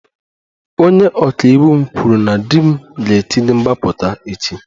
Onye ọka iwu m kwuru na di m ga-etinye mgbapụta echi